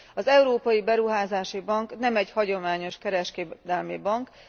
Az Európai Beruházási Bank nem egy hagyományos kereskedelmi bank.